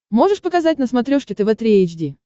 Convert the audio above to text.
можешь показать на смотрешке тв три эйч ди